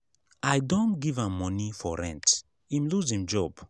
i don give am moni for rent im loose im job.